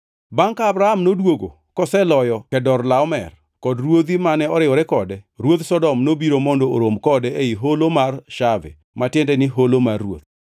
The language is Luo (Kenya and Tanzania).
Bangʼ ka Abram noduogo koseloyo Kedorlaomer kod ruodhi mane oriwore kode, ruodh Sodom nobiro mondo orom kode ei Holo mar Shave (ma tiende ni Holo mar Ruoth).